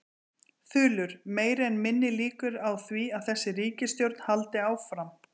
Þulur: Meiri eða minni líkur á því að þessi ríkisstjórn haldi áfram?